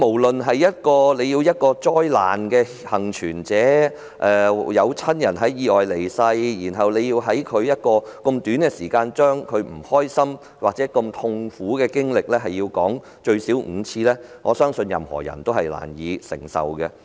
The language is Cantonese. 打個比喻說，一個災難幸存者，有親人在意外中離世，但卻被要求在短時間內把這段痛苦的經歷複述至少5遍，我相信任何人均難以承受。